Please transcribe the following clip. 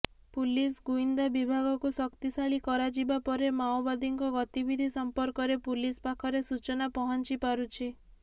police ଗୁଇନ୍ଦା ବିଭାଗକୁ ଶକ୍ତିଶାଳୀ କରାଯିବା ପରେ ମାଓବାଦୀଙ୍କ ଗତିବିଧି ସମ୍ପର୍କରେ ପୁଲିସ ପାଖରେ ସୂଚନା ପହଞ୍ଚିପାରୁଛି